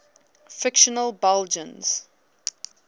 fictional belgians